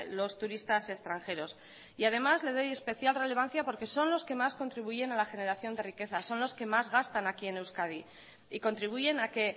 los turistas extranjeros y además le doy especial relevancia porque son los que más contribuyen a la generación de riqueza son los que más gastan aquí en euskadi y contribuyen a que